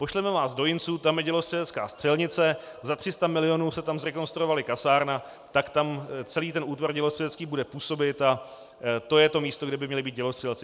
Pošleme vás do Jinců, tam je dělostřelecká střelnice, za 300 milionů se tam zrekonstruovala kasárna, tak tam celý ten útvar dělostřelecký bude působit a to je to místo, kde by měli být dělostřelci."